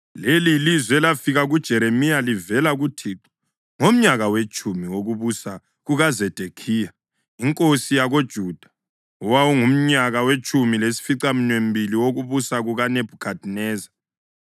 Leli yilizwi elafika kuJeremiya livela kuThixo ngomnyaka wetshumi wokubusa kukaZedekhiya inkosi yakoJuda, owawungumnyaka wetshumi lasificaminwembili wokubusa kukaNebhukhadineza.